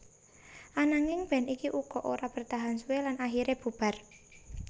Ananging band iki uga ora bertahan suwe lan akhiré bubar